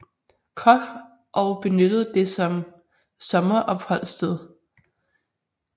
Koch og benyttede det som sommeropholdssted